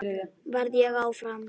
Verð ég áfram?